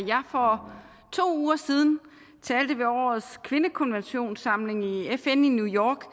jeg for to uger siden talte ved årets kvindekonventionssamling i fn i new york